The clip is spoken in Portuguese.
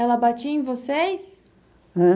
Ela batia em vocês? Ãh?